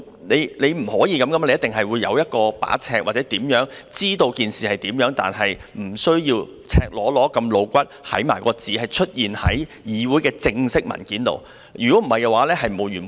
不可以這樣的，一定會有尺度，可以敍述事情而不需要讓赤裸裸、露骨的字眼出現在議會的正式文件裏，否則問題只會沒完沒了。